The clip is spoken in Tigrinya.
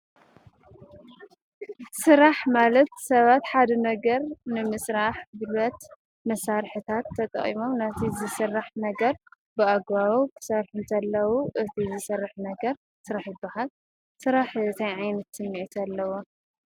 ስራሕ ማለት ሰባት ሓደ ነገር ንምስራሕ ጉልበት መሳርሕታት ተጠቂሞም ናይቲ ዝስራሕ ነገር ብኣግባቡ ክሰርሑ እንተለዉ እቲ ዝስራሕ ነገር ስራሕ ይበሃል። ስራሕ ታይ ዓይነት ስምዒት ኣለዎ ?